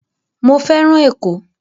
Mo fẹ́ràn Ẹ̀kọ́